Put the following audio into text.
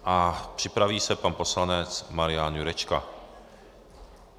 A připraví se pan poslanec Marian Jurečka.